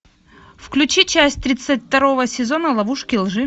включи часть тридцать второго сезона ловушки лжи